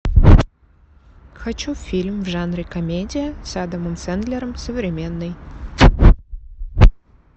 хочу фильм в жанре комедия с адамом сэндлером современный